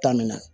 Taamina